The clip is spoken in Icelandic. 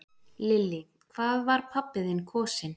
Lillý: Hvað var pabbi þinn kosinn?